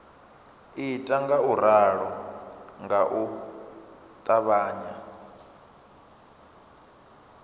ita ngauralo nga u ṱavhanya